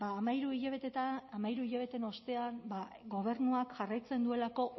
ba hamairu hilabete ostean gobernuak jarraitzen duelako